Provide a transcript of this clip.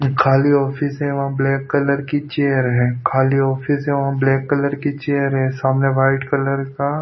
खाली ऑफिस है वहाँ ब्लैक कलर की चेयर है खाली ऑफिस है वहाँ ब्लैक कलर की चेयर है सामने वाइट कलर का --